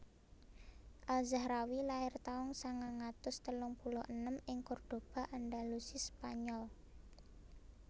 Al Zahrawi lair taun sangang atus telung puluh enem ing Cordoba Andalusi spanyol